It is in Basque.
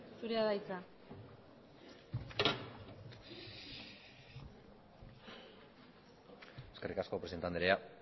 zurea da hitza eskerrik asko presidente andrea